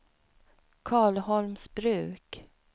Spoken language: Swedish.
Karlholmsbruk